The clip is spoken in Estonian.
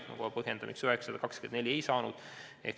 Kohe põhjendan, miks 924 seda ei saanud.